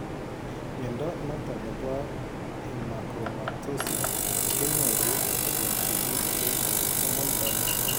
Mnyondo noton nebo Hemachromatosis ke nyoru kobun sigik en autosomal dominant